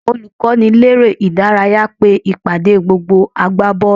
Olùkọ́niléré-ìdárayá pe ìpàdé gbogbo agbábọ́ọ̀lù